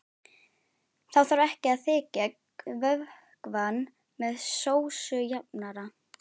Þá þarf ekki að þykkja vökvann með sósujafnara.